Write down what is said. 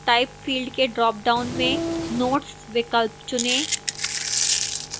type field के dropdown में notes विकल्प चुनें